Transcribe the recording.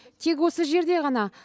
тек осы жерде ғана